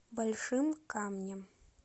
большим камнем